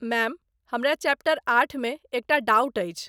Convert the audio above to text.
Ma'am, हमरा chapter आठमे एकटा डाउट अछि।